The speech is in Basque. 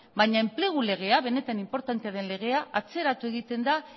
baina enplegu legea benetan inportantea den legea atzeratu egiten da